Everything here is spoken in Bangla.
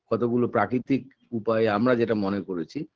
কতগুলো প্রাকৃতিক উপায়ে আমরা যেটা মনে করেছি